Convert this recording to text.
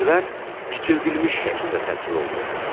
Ərazilər kiçildilmiş şəkildə təsvir olunur.